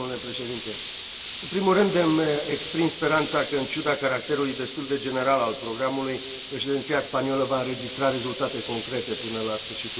În primul rând îmi exprim speranța că, în ciuda caracterului destul de general al programului, Președinția spaniolă va înregistra rezultate concrete până la sfârșitul lunii iunie.